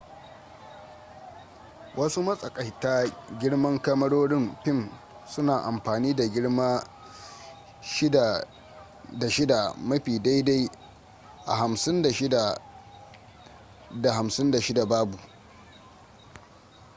wasu matsakaika-girman kamarorin fim suna amfani da girma 6cm ta 6cm mafi daidai a 56mm ta 56mm babu